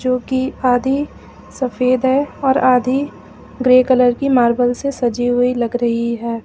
जोकि आधी सफेद है और आधी ग्रे कलर की मार्बल से सजी हुई लग रही है।